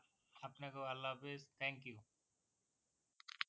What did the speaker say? আপনাকেও আল্লা হাফিস thank you